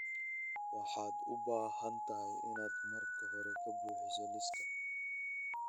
waxaad u baahan tahay inaad marka hore ka buuxiso liiska